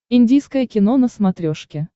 индийское кино на смотрешке